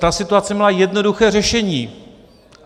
Ta situace měla jednoduché řešení.